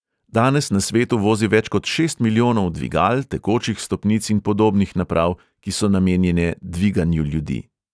Danes na svetu vozi več kot šest milijonov dvigal, tekočih stopnic in podobnih naprav, ki so namenjene dviganju ljudi.